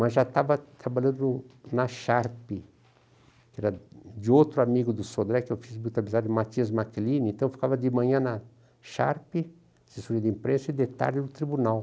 Mas já estava trabalhando na Sharpe, que era de outro amigo do Sodré, que eu fiz muita amizade, Matias Macline, então eu ficava de manhã na Sharpe, assessoria de imprensa e de tarde no tribunal.